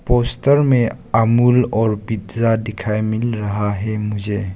Poster में अमूल और pizza दिखाई मिल रहा है मुझे।